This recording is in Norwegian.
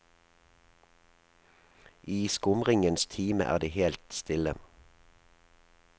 I skumringens time er det helt stille.